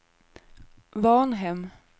Varnhem